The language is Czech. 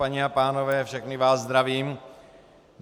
Paní a pánové, všechny vás zdravím.